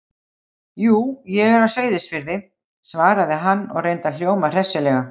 Jú, ég er á Seyðisfirði- svaraði hann og reyndi að hljóma hressilega.